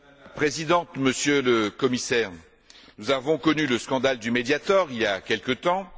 Madame la Présidente, Monsieur le Commissaire, nous avons connu le scandale du Mediator, il y a quelque temps.